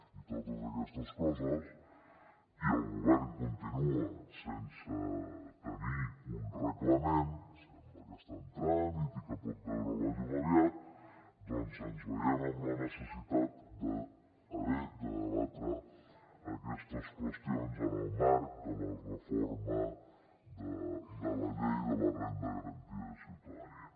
i totes aquestes coses i el govern continua sense tenir un reglament sembla que està en tràmit i que pot veure la llum aviat doncs ens veiem amb la necessitat d’haver de debatre aquestes qüestions en el marc de la reforma de la llei de la renda garantida de ciutadania